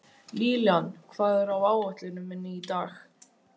Lillian, hvað er á áætluninni minni í dag?